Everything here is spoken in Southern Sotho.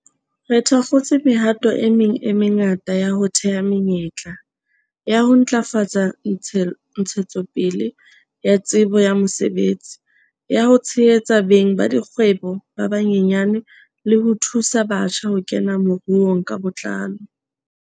Re thakgotse mehato e meng e mengata ya ho theha menyetla, ya ho ntlafatsa ntshetsopele ya tsebo ya mosebetsi, ya ho tshehetsa beng ba dikgwebo ba banyenyane le ho thusa batjha ho kena moruong ka botlalo.